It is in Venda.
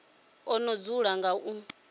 o no dzula nga u